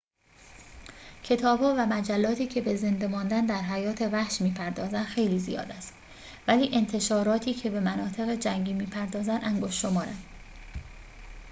کتاب‌ها و مجلاتی که به زنده ماندن در حیات وحش می‌پردازند خیلی زیاد است ولی انتشاراتی که به مناطق جنگی بپردازند انگشت‌شمارند